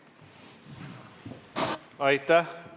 Aitäh!